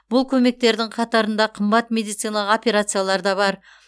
бұл көмектердің қатарында қымбат медицина операциялар да бар